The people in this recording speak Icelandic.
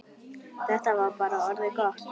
Þetta var bara orðið gott.